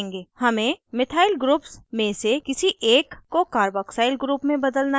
हमें methyl groups में से किसी एक को carboxyl group में बदलना है